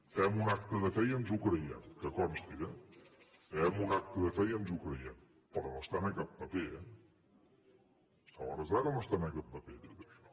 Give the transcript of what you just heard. fem un acte de fe i ens ho creiem que consti eh fem un acte de fe i ens ho creiem però no estan a cap paper eh a hores d’ara no està a cap paper tot això